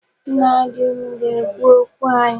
Nna di m ga-ekwu okwu anyị.